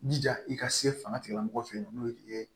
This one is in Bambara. Jija i ka se fanga tigilamɔgɔ fɛ yen nɔ n'o ye